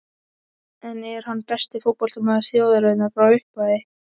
En er hann besti fótboltamaður þjóðarinnar frá upphafi?